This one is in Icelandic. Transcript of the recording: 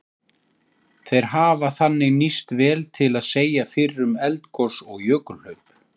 Þeir hafa þannig nýst vel til að segja fyrir um eldgos og jökulhlaup.